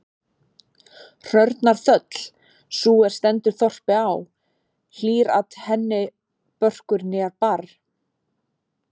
Hrörnar þöll, sú er stendur þorpi á, hlýr-at henni börkur né barr.